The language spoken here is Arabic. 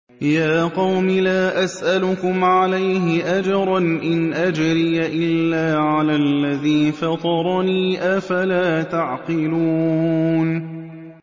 يَا قَوْمِ لَا أَسْأَلُكُمْ عَلَيْهِ أَجْرًا ۖ إِنْ أَجْرِيَ إِلَّا عَلَى الَّذِي فَطَرَنِي ۚ أَفَلَا تَعْقِلُونَ